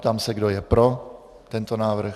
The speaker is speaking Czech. Ptám se, kdo je pro tento návrh.